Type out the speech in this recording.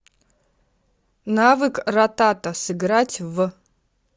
навык ратата сыграть в